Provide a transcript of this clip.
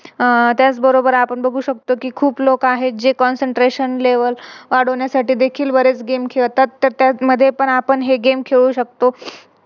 आह त्याच बरोबर आपण बघू शकतो कि खूप लोक आहेत जे Concentration level वाढविण्यासाठी देखील बरेच Game खेळतात, त्यामध्ये आपण हे Game पण खेळू शकतो